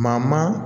Maa maa